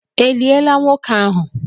E liela nwoke ahụ?